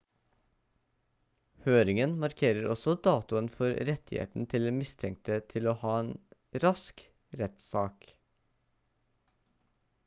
høringen markerer også datoen for rettigheten til den mistenkte til å ha en rask rettssak